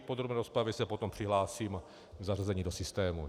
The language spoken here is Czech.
V podrobné rozpravě se potom přihlásím k zavedení do systému.